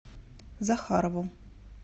захарову